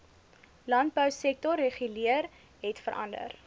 landbousektor reguleer hetverander